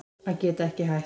Að geta ekki hætt